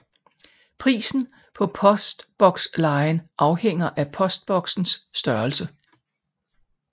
Prisen på postbokslejen afhænger af postboksens størrelse